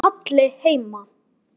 Er Halli heima?